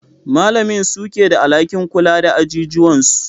Malamin suke da alhakin kula da ajijuwan su.